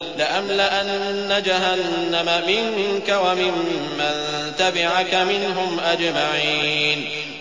لَأَمْلَأَنَّ جَهَنَّمَ مِنكَ وَمِمَّن تَبِعَكَ مِنْهُمْ أَجْمَعِينَ